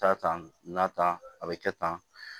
Taa tan a bɛ kɛ tan